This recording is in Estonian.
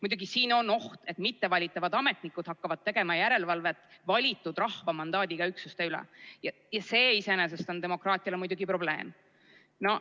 Muidugi, siin on oht, et mittevalitavad ametnikud hakkavad tegema järelevalvet valitud, rahva mandaadiga üksuste üle ja see iseenesest on demokraatiale probleem.